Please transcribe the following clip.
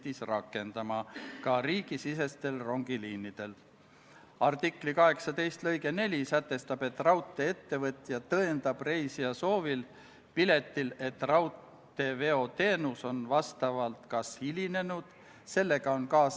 Lisaks otsustas riigikaitsekomisjon konsensuslikult, et Riigikogule tehakse ettepanek eelnõu teine lugemine lõpetada ning Riigikogu kodu- ja töökorra seaduse §-le 109 tuginedes eelnõu lõpphääletusele panna ja Riigikogu otsusena vastu võtta.